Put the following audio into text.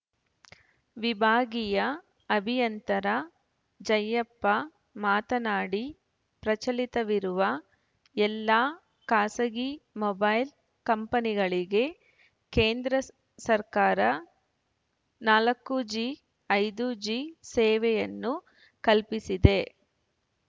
ವಿಭಾಗೀಯ ಅಭಿಯಂತರ ಜಯ್ಯಪ್ಪ ಮಾತನಾಡಿ ಪ್ರಚಲಿತವಿರುವ ಎಲ್ಲಾ ಖಾಸಗಿ ಮೊಬೈಲ್‌ ಕಂಪನಿಗಳಿಗೆ ಕೇಂದ್ರ ಸ ಸರ್ಕಾರ ನಾಲ್ಕು ಜಿ ಐದು ಜಿ ಸೇವೆಯನ್ನು ಕಲ್ಫಿಸಿದೆ